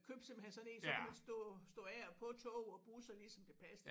Købte simpelthen sådan en så kunne man stå stå af og på tog og busser lige så det passede